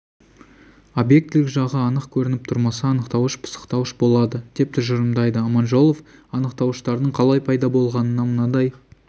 объектілік жағы анық көрініп тұрмаса анықтауыш пысықтауыш болады деп тұжырымдайды аманжолов анықтауыштардың қалай пайда болғанына мынадай